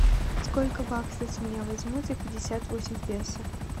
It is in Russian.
сколько баксов с меня возьмут за пятьдесят восемь песо